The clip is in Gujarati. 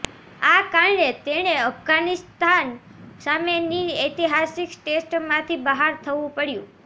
આ કારણે તેણે અફઘાનિસ્તાન સામેની ઐતિહાસિક ટેસ્ટમાંથી બહાર થવું પડ્યું છે